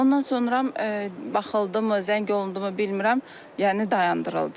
Ondan sonra baxıldımı, zəng olundumu bilmirəm, yəni dayandırıldı.